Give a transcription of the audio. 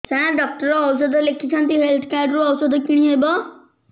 ସାର doctor ଔଷଧ ଲେଖିଛନ୍ତି health card ରୁ ଔଷଧ କିଣି ହେବ